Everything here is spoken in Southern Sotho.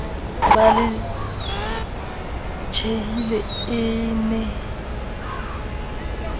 ba le tjhehile e ne